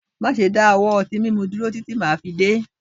Máṣe dáwọ́ ọtí múnu dúró títí màá fi dé